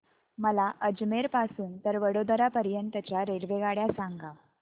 मला अजमेर पासून तर वडोदरा पर्यंत च्या रेल्वेगाड्या सांगा